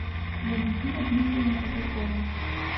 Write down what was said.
валентина дмитриевна казакова